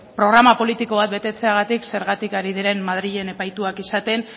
programa politiko betetzeagatik zergatik ari diren madrilen epaituak izaten